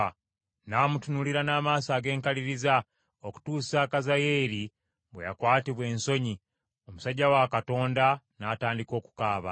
N’amutunuulira n’amaaso ag’enkaliriza, okutuusa Kazayeeri bwe yakwatibwa ensonyi, omusajja wa Katonda n’atandika okukaaba.